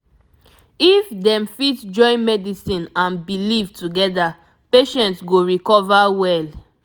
if dem fit join medicine and belief together patient go recover well